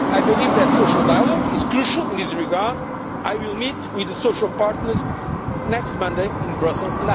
I believe that social dialogue is crucial in this regard and I will meet with the social partners next Monday in Brussels.